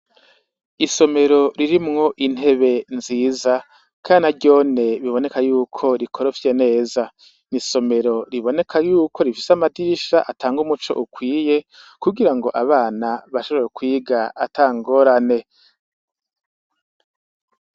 Isomero ririmwo intebe nziza, kandi naryone biboneka ko rikorofye neza. Ni isomero riboneka yuko rifise amadirisha atanga umuco ukwiye, kugirango abana bashobore kwiga atangorane.